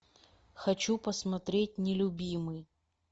хочу посмотреть нелюбимый